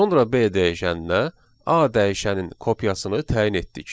Sonra B dəyişəninə A dəyişənin kopyasını təyin etdik.